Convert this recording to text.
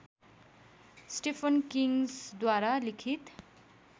Stephen किङ्ग्सद्वारा लिखित